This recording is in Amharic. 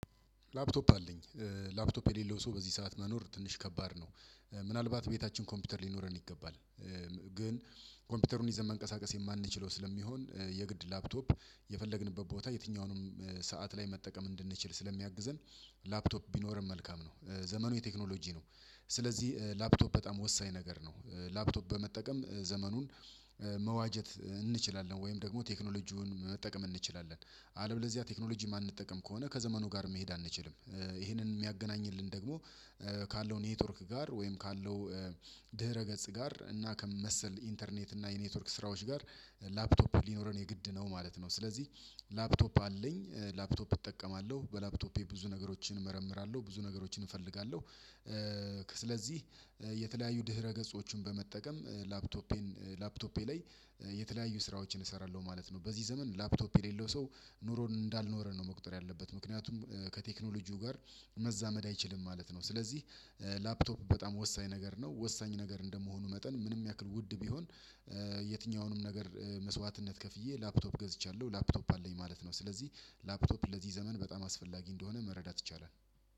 ላፕቶፕ አለኝ ላፕቶፕ የሌለው ሰው በዚህ ሰዓት መኖር ትንሽ ከባድ ነው። ምናልባት ቤታችን ኮምፒውተር ሊኖረን ይገባል። ግን ኮምፒውተሩን ይዘን መንቀሳቀስ የማንችለው ስለሚሆን የግድ ላፕቶፕ የፈለግንበት ቦታ የትኛውንም ሰዓት ላይ መጠቀም እንድንችል ስለሚያግዘን ላፕቶፕ ቢኖረን መልካም ነው። ዘመኑ የቴክኖሎጂ ነው። ስለዚህ ላፕቶፕ በጣም ወሳኝ ነገር ነው። ላፕቶፕ በመጠቀም ዘመኑን መዋጀት እንችላለን ወይም ደግሞ ቴክኖሎጂውን መጠቀም እንችላለን። አለበለዚያ ቴክኖሎጂ የማንጠቀም ከሆነ ከዘመኑ ጋር መሄድ አንችልም። ይሄንን የሚያገናኝልን ደግሞ ካለው ኔትወርክ ጋር ወይም ካለው ድህረ ገጽ ጋር እና ከመሰል ኢንተርኔት እና የኔትወርክ ስራዎች ጋር ላፕቶፕ ሊኖረን የግድ ነው ማለት ነው። ስለዚህ ላፕቶፕ አለኝ ላፕቶፕ እጠቀማለሁ በላፕቶፔ ብዙ ነገሮችን እመርምራለሁ ብዙ ነገሮችን እፈልጋለሁ። ስለዚህ የተለያዩ ድህረ ገጾችን በመጠቀም ላፕቶፔን ላፕቶፔ ላይ የተለያዩ ስራዎችን እሰራለሁ ማለት ነው። በዚህ ዘመን ላፕቶፕ የሌለው ሰው ኑሮን እንዳልኖረ ነው መቁጠር ያለበት። ምክንያቱም ከቴክኖሎጂው ጋር መዛመድ አይችልም ማለት ነው። ስለዚህ ላፕቶፕ በጣም ወሳኝ ነገር ነው። ወሳኝ ነገር እንደመሆኑ መጠን ምንም ያክል ውድ ቢሆን የትኛውንም ነገር መስዋዕትነት ከፍዬ ላፕቶፕ ገዝቻለሁ ላፕቶፕ አለኝ ማለት ነው። ስለዚህ ላፕቶፕ ለዚህ ዘመን በጣም አስፈላጊ እንደሆነ መረዳት ይቻላል።